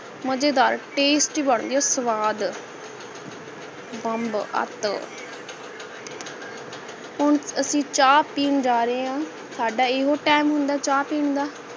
ਮਜੇਦਾਰ tasty ਬਣਦੀ ਹੈ ਸਵਾਦ ਬੰਬ ਅਤ ਹੁਣ ਅਸੀਂ ਚਾਹ ਪੀ ਜਾਨ ਰਹੇ ਹੈ ਸਾਡਾ ਇਹੋ time ਹੁੰਦਾ ਹੈ ਚਾਹ ਪਿੰਨ ਦਾ